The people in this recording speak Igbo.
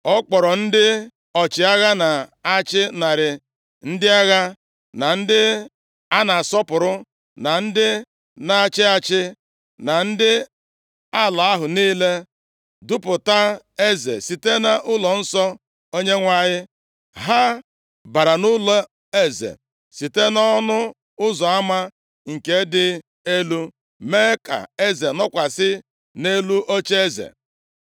Ọ kpọọrọ ndị ọchịagha na-achị narị ndị agha, na ndị a na-asọpụrụ, na ndị na-achị achị, na ndị ala ahụ niile, dupụta eze site nʼụlọnsọ Onyenwe anyị. Ha bara nʼụlọeze site nʼọnụ ụzọ ama nke dị Elu, mee ka eze nọkwasị nʼelu ocheeze.